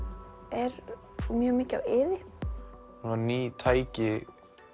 er mjög mikið á iði svona ný tæki